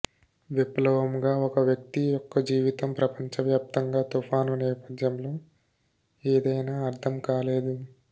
విప్లవం ఒక వ్యక్తి యొక్క జీవితం ప్రపంచవ్యాప్తంగా తుఫాను నేపథ్యంలో ఏదైనా అర్థం లేదు